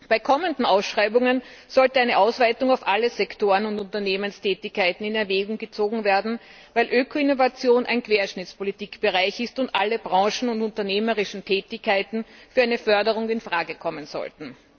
Bei kommenden Ausschreibungen sollte eine Ausweitung auf alle Sektoren und Unternehmenstätigkeiten in Erwägung gezogen werden, weil Öko Innovation ein Querschnittspolitikbereich ist und alle Branchen und unternehmerischen Tätigkeiten für eine Förderung in Frage kommen sollten.